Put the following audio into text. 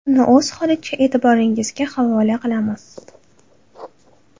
Uni o‘z holicha e’tiboringizga havola qilamiz.